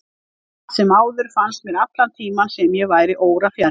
Samt sem áður fannst mér allan tímann sem ég væri órafjarri.